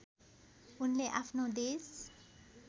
उनले आफ्नो देश